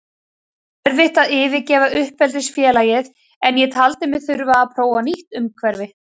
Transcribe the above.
Það er erfitt að yfirgefa uppeldisfélagið en ég taldi mig þurfa að prófa nýtt umhverfi.